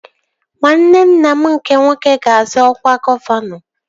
Nwanne nna m nke nwoke ga-azọ ọkwa gọvanọ